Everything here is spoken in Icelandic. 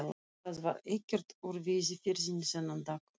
Það varð ekkert úr veiðiferðinni þennan dag.